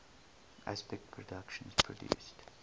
aspect productions produced